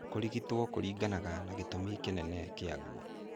Kũrigito kũriganaga na ngĩtũmi kinene kĩaguo.